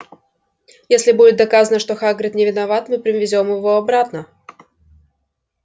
если будет доказано что хагрид не виноват мы привезём его обратно